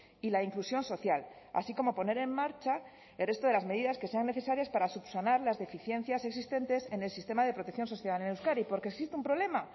y la inclusión social así como poner en marcha el resto de las medidas que sean necesarias para subsanar las deficiencias existentes en el sistema de protección social en euskadi porque existe un problema